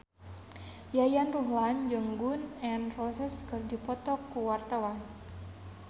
Yayan Ruhlan jeung Gun N Roses keur dipoto ku wartawan